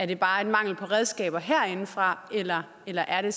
det bare mangel på redskaber herindefra eller eller er det